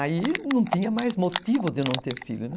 Aí não tinha mais motivo de eu não ter filho, né?